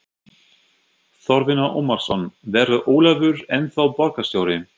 Þorfinnur Ómarsson: Verður Ólafur ennþá borgarstjóri?